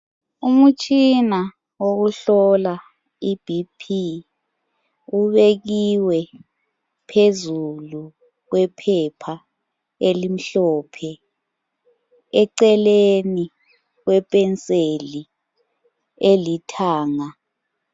Umutshina wokuhlola iBP ubekiwe phezulu kwephepha elimhlophe eceleni kwepenseli elithanga.